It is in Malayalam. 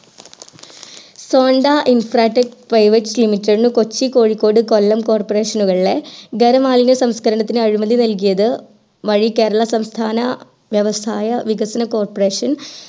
sondra infratech private limited Kochi Kozhikode Kollam corporation ലെ ഗരം മാലിന്യ സംസ്കരണത്തിന് അഴിമതി നൽകിയത് my കേരള സംസ്ഥാന വ്യവസായ വികസന cooperation